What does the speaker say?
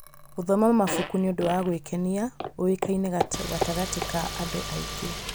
Gũthoma mabuku nĩ ũndũ wa gwĩkenia ũĩkaine gatagatĩ ka andũ aingĩ.